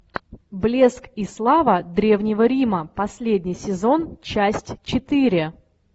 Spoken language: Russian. блеск и слава древнего рима последний сезон часть четыре